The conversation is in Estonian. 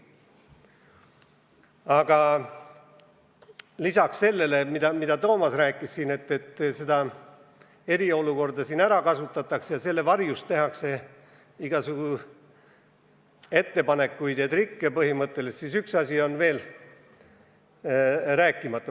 Aga lisaks sellele, mida Toomas siin rääkis, et eriolukorda kasutatakse ära ning selle varjus tehakse igasuguseid ettepanekuid ja trikke, on üks asi veel rääkimata.